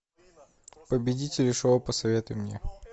победители шоу посоветуй мне